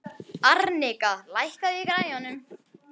Arnika, lækkaðu í græjunum.